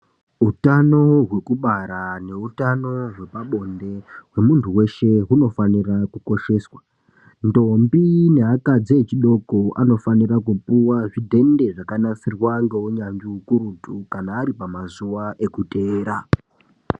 Utano hwekubara neutano hwepabonde hwemuntu weshe hunofanira kukosheswa. Ndombi neakadzi echidoko anofanira kupuwa zvidhende zvakanasirwa ngeunyanzvi hukurutu kana ari pamazuwa ekuteera.